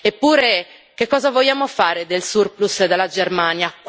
Eppure, che cosa vogliamo fare del surplus dalla Germania?